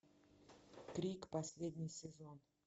крик последний сезон